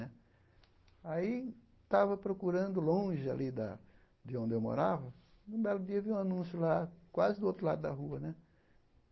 Né aí estava procurando longe alí da de onde eu morava e, num belo dia, vi um anúncio lá, quase do outro lado da rua né.